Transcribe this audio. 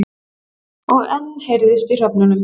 Og enn heyrðist í hröfnunum.